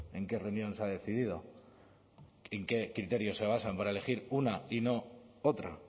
en qué reunión se ha decidido en qué criterios se basan para elegir una y no otra